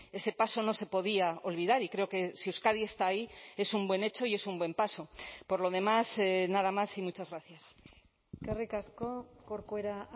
ese paso no se podía olvidar y creo que si euskadi está ahí es un buen hecho y es un buen paso por lo demás nada más y muchas gracias eskerrik asko corcuera